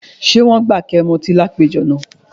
Ṣé wọ́n gbà kí ẹ mu ọtí ní àpéjọ náà?